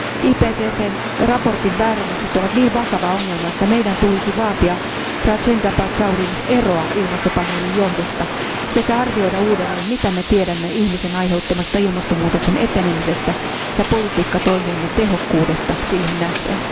IPCCn raportin väärennökset ovat niin vakava ongelma, että meidän tulisi vaatia Rajendra Pachaurin eroa ilmastopaneelin johdosta sekä arvioida uudelleen, mitä me tiedämme ihmisen aiheuttamasta ilmastonmuutoksen etenemisestä ja politiikkatoimiemme tehokkuudesta siihen nähden.